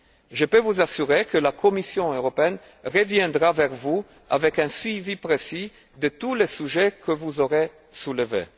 Je peux vous assurer que la Commission européenne reviendra vers vous avec un suivi précis de tous les sujets que vous aurez soulevés.